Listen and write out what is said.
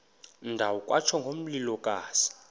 ndawo kwatsho ngomlilokazi